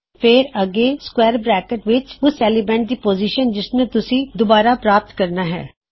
ਫੇਰ ਅੱਗੇ square bracket ਵਿੱਚ ਓਸ ਐਲੀਮੈਨਟ ਦੀ ਪੋਜ਼ਿਸ਼ਨ ਜਿਸਨੂੰ ਤੁਸੀਂ ਰੀਟ੍ਰੀਵ ਕਰਨਾ ਹੈ